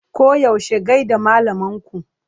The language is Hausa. Koyaushe gai da malaman ku!